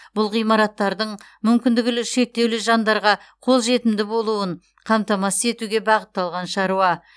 бұл ғимараттардың мүмкіндігілі шектеулі жандарға қолжетімді болуын қамтамасыз етуге бағытталған шаруа